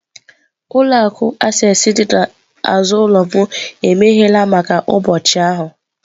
Ụlọ akụ Access dị n'azụ ụlọ m emeghela maka ụbọchị ahụ.